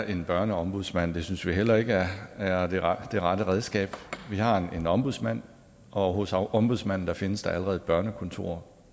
en børneombudsmand det synes vi heller ikke er er det rette rette redskab vi har en ombudsmand og hos ombudsmanden findes der allerede et børnekontor